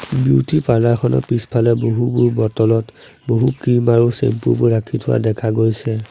Beauty parlour খনৰ পিছফালে বহুবোৰ বটল ত বহু ক্ৰীম আৰু চেম্পু বোৰ ৰাখি থোৱা দেখা গৈছে।